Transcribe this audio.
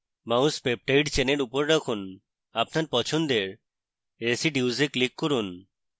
mouse peptide চেনের উপর রাখুন আপনার পছন্দের residues তে click করুন